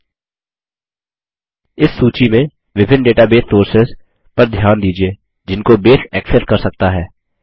इस सूची में विभिन्न database sources database sources sources पर ध्यान दीजिये जिनको बेस एक्सेस कर सकता है